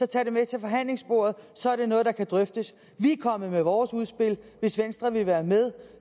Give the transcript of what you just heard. tage det med til forhandlingsbordet og så er det noget der kan drøftes vi er kommet med vores udspil og hvis venstre vil være med